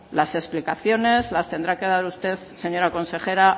las explicaciones las tendrá que dar usted señora consejera